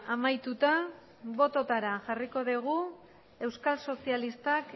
amaituta bototara jarriko dugu euskal sozialistak